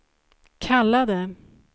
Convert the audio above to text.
kallade